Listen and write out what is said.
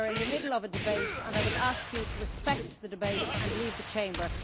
We are in the middle of a debate and I would ask you to respect the debate and leave the Chamber.